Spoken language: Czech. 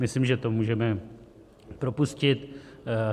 Myslím, že to můžeme propustit.